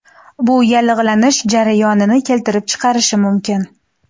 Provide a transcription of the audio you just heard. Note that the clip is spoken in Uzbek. Bu yallig‘lanish jarayonini keltirib chiqarishi mumkin.